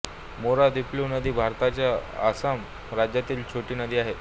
मोरा दिफ्लु नदी भारताच्या असम राज्यातील छोटी नदी आहे